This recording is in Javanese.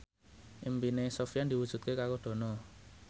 impine Sofyan diwujudke karo Dono